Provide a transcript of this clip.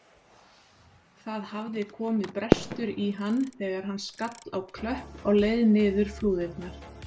Það hafði komið brestur í hann þegar hann skall á klöpp á leið niður flúðirnar.